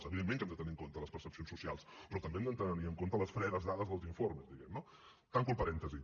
evidentment que hem de tenir en compte les percepcions socials però també hem de tenir en compte les fredes dades dels informes diguem ne no tanco el parèntesi